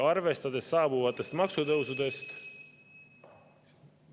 Arvestades saabuvatest maksutõusudest …